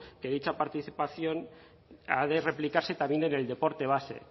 que dicha participación ha de replicarse también en el deporte base